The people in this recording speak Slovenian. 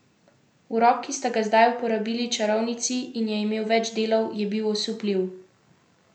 Urok, ki sta ga zdaj uporabili čarovnici in je imel več delov, je bil osupljiv.